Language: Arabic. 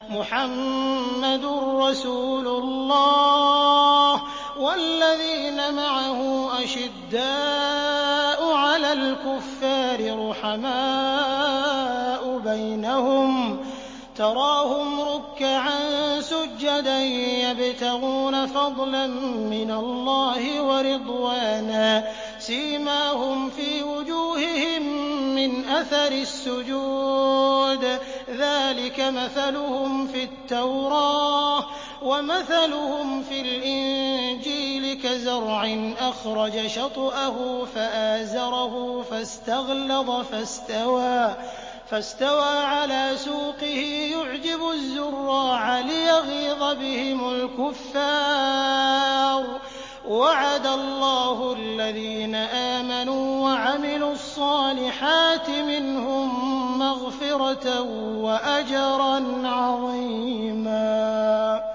مُّحَمَّدٌ رَّسُولُ اللَّهِ ۚ وَالَّذِينَ مَعَهُ أَشِدَّاءُ عَلَى الْكُفَّارِ رُحَمَاءُ بَيْنَهُمْ ۖ تَرَاهُمْ رُكَّعًا سُجَّدًا يَبْتَغُونَ فَضْلًا مِّنَ اللَّهِ وَرِضْوَانًا ۖ سِيمَاهُمْ فِي وُجُوهِهِم مِّنْ أَثَرِ السُّجُودِ ۚ ذَٰلِكَ مَثَلُهُمْ فِي التَّوْرَاةِ ۚ وَمَثَلُهُمْ فِي الْإِنجِيلِ كَزَرْعٍ أَخْرَجَ شَطْأَهُ فَآزَرَهُ فَاسْتَغْلَظَ فَاسْتَوَىٰ عَلَىٰ سُوقِهِ يُعْجِبُ الزُّرَّاعَ لِيَغِيظَ بِهِمُ الْكُفَّارَ ۗ وَعَدَ اللَّهُ الَّذِينَ آمَنُوا وَعَمِلُوا الصَّالِحَاتِ مِنْهُم مَّغْفِرَةً وَأَجْرًا عَظِيمًا